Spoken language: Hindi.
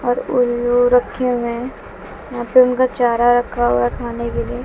और उल्लू रखे हुए है। यहां पे उनका चारा रखा हुआ है खाने के लिए।